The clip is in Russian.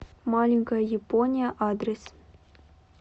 маленькая япония адрес